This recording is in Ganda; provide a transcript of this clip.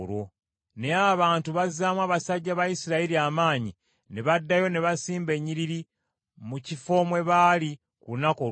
Naye abantu bazzaamu abasajja ba Isirayiri amaanyi, ne baddayo ne basimba ennyiriri mu kifo mwe baali ku lunaku olwasooka.